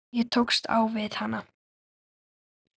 Ég tókst á við hana.